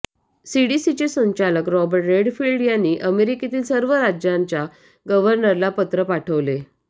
सीडीसीचे संचालक Robert Redfield यांनी अमेरिकेतील सर्व राज्यांच्या गव्हर्नरला पत्र पाठवले